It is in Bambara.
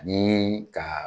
Ani ka